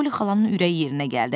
Poli xalanın ürəyi yerinə gəldi.